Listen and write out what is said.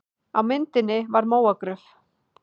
Á myndinni var mógröf.